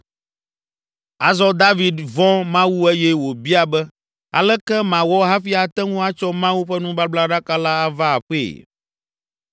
Azɔ David vɔ̃ Mawu eye wòbia be “Aleke mawɔ hafi ate ŋu atsɔ Mawu ƒe nubablaɖaka la ava aƒee?”